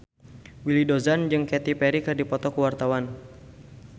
Willy Dozan jeung Katy Perry keur dipoto ku wartawan